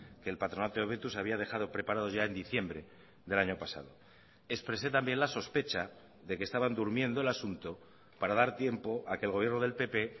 que el patronato de hobetuz había dejado preparados ya en diciembre del año pasado expresé también la sospecha de que estaban durmiendo el asunto para dar tiempo a que el gobierno del pp